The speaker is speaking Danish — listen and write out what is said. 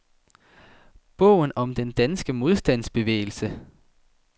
Bogen om den danske modstandsbevægelse.